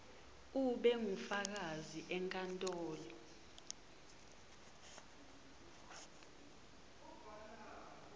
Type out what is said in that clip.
ube ngufakazi enkantolo